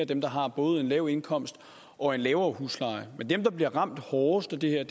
dem der har både en lav indkomst og en lavere husleje men dem der bliver ramt hårdest af det her